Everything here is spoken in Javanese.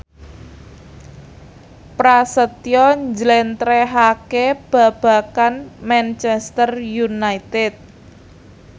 Prasetyo njlentrehake babagan Manchester united